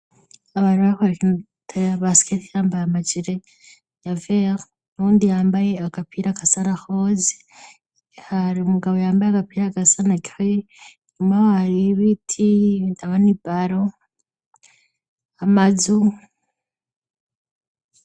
abantu bariko barakina baskete bambaye amajire ya vere nundi yambaye agapira gasa na rose hari umugabo yambaye agapira gasa na gris inyuma yaho hari ibiti ndabona ibaro amazu